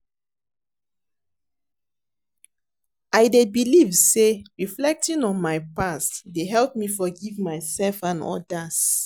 I dey believe say reflecting on my past dey help me forgive myself and others.